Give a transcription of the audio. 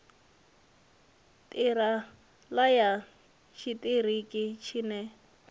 ṱira ṱa ya tshiṱiriki tshine